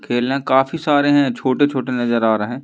खेलने काफी सारे हैं छोटे छोटे नजर आ रहे हैं।